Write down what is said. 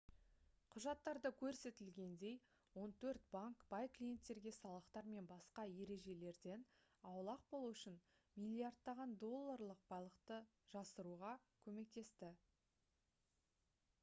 құжаттарда көрсетілгендей он төрт банк бай клиенттерге салықтар мен басқа ережелерден аулақ болу үшін миллиардтаған долларлық байлықты жасыруға көмектесті